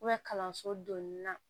kalanso donni na